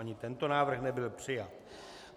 Ani tento návrh nebyl přijat.